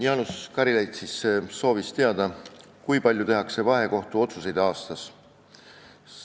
Jaanus Karilaid soovis teada, kui palju vahekohtu otsuseid aastas tehakse.